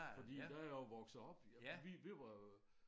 Fordi der jeg jo vokset op ja vi vi var